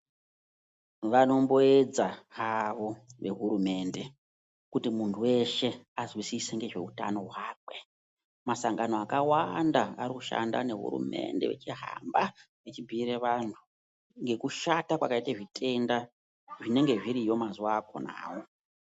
Vanomboedaa havo kuti hurumende anziwisise nezvehutano masangano akawanada anoshanda nehurumende kuhamba vcahibhuira vantu mekushata kunenge kwakaita vantu ikweyo.